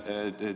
Lõpetuseks.